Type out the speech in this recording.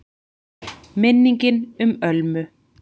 MINNINGIN UM ÖLMU